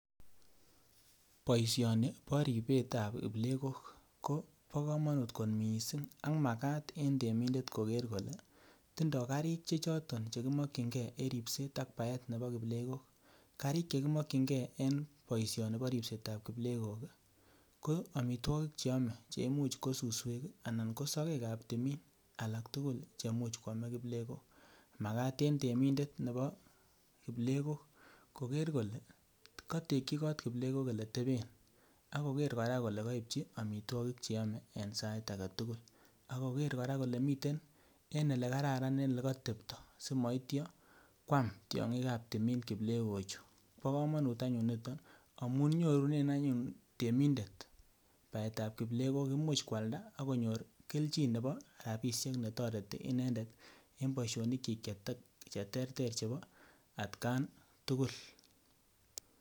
Boisioni bo ripetab plegok ko bo komonut kot mising ak makat eng temindet koker kole tindoi karik choto che kimokyingei en ripset ak baetab kiplegok, karik che kimokyingei en boisioni bo ripsetab kiplegok ii, ko amitwogik che ome cheimuch ko suswek anan ko sokekab timin alak tugul che much kwome kiplegok, makat eng temindet nebo kiplegok koker kole katekyi got kiplegok oleteben ak koker kora kole kaipchi amitwogik che yome en sait age tugul ak koker kora kole miten en ole kararan ole katepto simoityo kwam tiongikab timin kiplegok chu, bo kamanut anyun niton amun nyorunen anyun temindet baetab kiplegok imuch kwalda ak konyor kelchin nebo rabiisiek ne toreti inendet eng boisionikyik cheterter chebo atkan tugul.